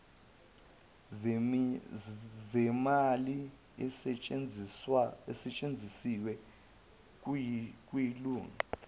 zemali esetshenzisiwe yilunga